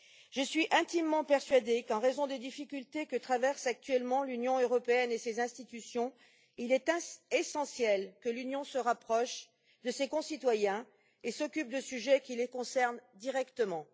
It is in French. Je suis intimement persuadée qu'en raison des difficultés que traversent actuellement l'Union européenne et ses institutions, il est essentiel que l'Union se rapproche de ses concitoyens et s'occupe de sujets qui les concernent directement.